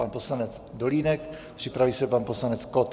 Pan poslanec Dolínek, připraví se pan poslanec Kott.